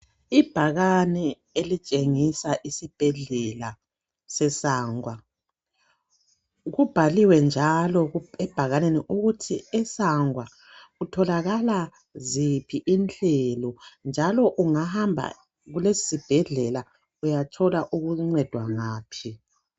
Ibhakane elitshengisa isibhedlela se Sangwa. Kubhaliwe njalo ebhakaneni ukuthi eSangwa kutholakala ziphi inhlelo njalo ungahamba kulesi sibhedlela uyatholwa ukuncedwa ngaphi.